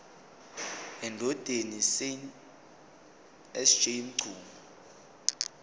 endodeni sj mchunu